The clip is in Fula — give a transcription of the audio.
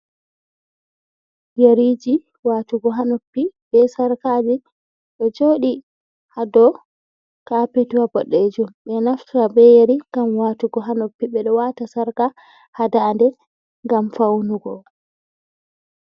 yariji watugo hanoppi be sarkaji ɗo joɗi hado kapet, Ɓeɗo naftira be yari gam watugo ha noppi, Ɓedo wata sarka hadande gam faunugo.